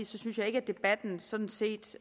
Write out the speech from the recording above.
synes at debatten sådan set